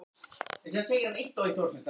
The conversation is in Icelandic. Þannig ætti þörfinni að verða fullnægt.